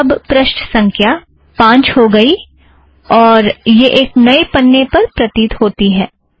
अब पृष्ठ संख्या पाँच हो गई और यह एक नए पन्ने पर प्रतीत होता है